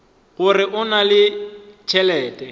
gore o na le tšhelete